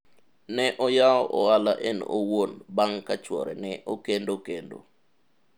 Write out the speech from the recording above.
ne oyawo ohala en owuon bang' ka chuore ne okendo kendo